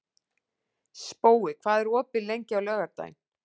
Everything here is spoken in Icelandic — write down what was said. Spói, hvað er opið lengi á laugardaginn?